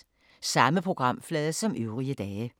Samme programflade som øvrige dage